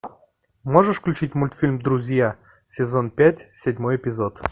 можешь включить мультфильм друзья сезон пять седьмой эпизод